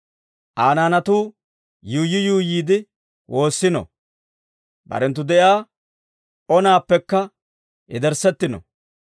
Aa naanatuu yuuyyi yuuyyiide woossino; barenttu de'iyaa onaappekka yederssettino!